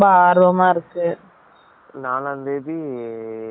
நாலான் தேதி ticket இருக்கு